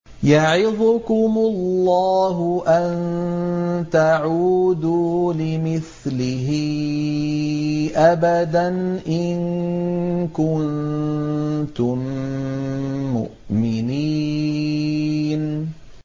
يَعِظُكُمُ اللَّهُ أَن تَعُودُوا لِمِثْلِهِ أَبَدًا إِن كُنتُم مُّؤْمِنِينَ